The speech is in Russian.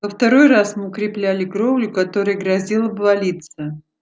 во второй раз мы укрепляли кровлю которая грозила обвалиться